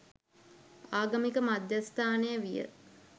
ආගමික මධ්‍යස්ථානය විය.